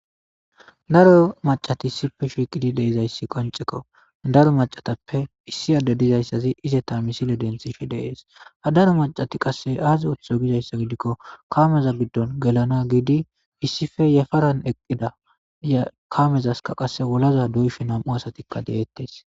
daro macati sife shiiqidi deizayssi qoncekko daro macatappe issi adde dizayssazi ize ta misile denthishi deees ha daro macati qasse aazi ootho gizayssa gidikko kaameza giddon gelana giidi issife yefaran eqqida ykaamezaska qasse wolaza duyfe nam7u asatikka deettes